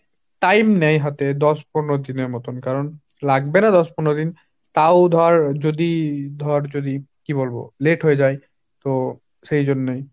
time নেয় হাতে দশ পনের দিনের মতন, কারন লাগবে না দশ পনের দিন, তাও ধর যদি ধর যদি কি বলব late হয়ে যায়, তো সেই জন্যেই।